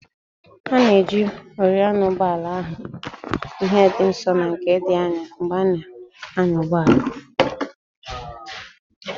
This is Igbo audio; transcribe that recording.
A na-eji oriọna ụgbọala ahụ ihe dị nso na nke dị anya mgbe a na-anya ụgbọala